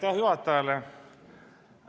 Aitäh juhatajale!